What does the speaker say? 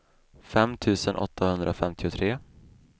fem tusen åttahundrafemtiotre